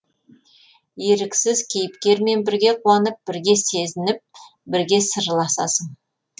еріксіз кейіпкермен бірге қуанып бірге сезініп бірге сырласасың